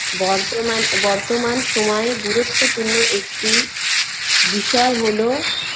বর্তমান বর্তমান সময়ে গুরুত্বপূর্ণ একটি বিষয় হলো